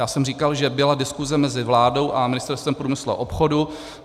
Já jsem říkal, že byla diskuze mezi vládou a Ministerstvem průmyslu a obchodu.